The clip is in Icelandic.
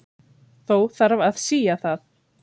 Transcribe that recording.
Þó þarf að sía það.